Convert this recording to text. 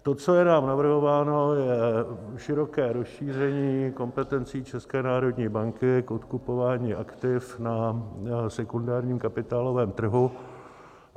To, co je nám navrhováno, je široké rozšíření kompetencí České národní banky k odkupování aktiv na sekundárním kapitálovém trhu -